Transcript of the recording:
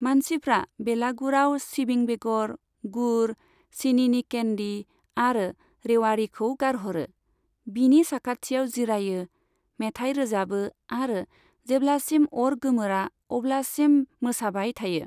मानसिफ्रा बेलागुराव सिबिं बेगर, गुर, सिनिनि केन्डी आरो रेवाड़ीखौ गारहरो, बिनि साखाथियाव जिरायो, मेथाइ रोजाबो आरो जेब्लासिम अर गोमोरा अब्लासिम मोसाबाय थायो।